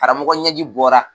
Karamɔgɔ ɲɛji bɔra